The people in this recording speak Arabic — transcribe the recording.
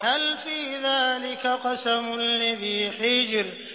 هَلْ فِي ذَٰلِكَ قَسَمٌ لِّذِي حِجْرٍ